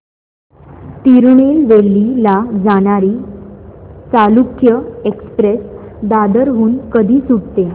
तिरूनेलवेली ला जाणारी चालुक्य एक्सप्रेस दादर हून कधी सुटते